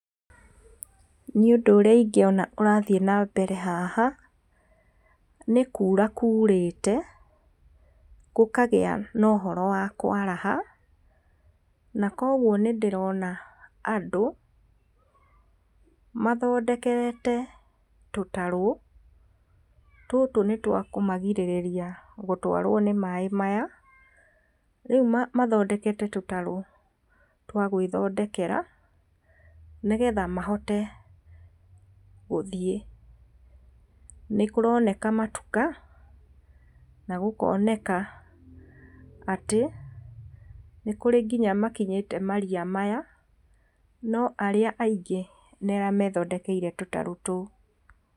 Niĩ ũndũ ũrĩa ingĩona ũrathiĩ nambere haha, nĩ kuura kuurĩte, gũkagĩa na ũhoro wa kwaraha, na koguo nĩ ndĩrona andũ mathondekete tũtarũ, tũtũ nĩ twakũmagirĩrĩria gũtwarwo nĩ maĩ maya, rĩu mathondekete tũtarũ twa gwĩthondekera nĩgetha mahote gũthiĩ, nĩ kũroneka matuka na gũkoneka atĩ, nĩ kũrĩ nginya makinyĩte maria maya, no arĩa aingĩ nĩ arĩa methondekeire tũtarũ tũu.